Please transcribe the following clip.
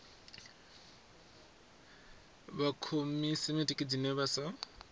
wa khosimetiki dzine vha sa